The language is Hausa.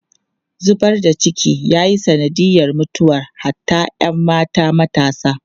Zubar da ciki ya yi sanadiyar mutuwar hatta ‘yan mata matasa.